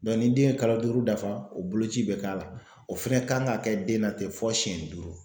ni den ye kalo duuru dafa o boloci bɛ k'a la o fɛnɛ kan ka kɛ den na ten fɔ siyɛn duuru.